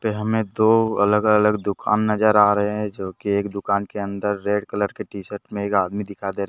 पे हमें दो अलग अलग दुकान नजर आ रहे हैं जोकि एक दुकान के अंदर रेड कलर की टी शर्ट में एक आदमी दिखाई दे रहे --